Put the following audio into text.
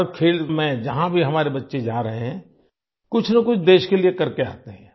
हर खेल में जहाँ भी हमारे बच्चें जा रहे हैं कुछ न कुछ देश के लिए करके आते हैं